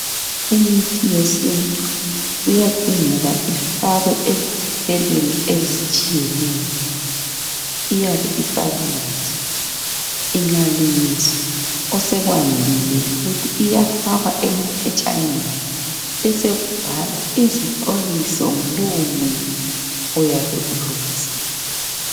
Imithi yesintu kuyadingeka ifakwe eziphathelweni ezitshiyeneyo. Iyabe isalungiswa, ingalungiswa osekwandile yikuthi iyafakwa emaphetshaneni besekubhalwa izixwayiso ngalowo muthi oyabe ulungisiwe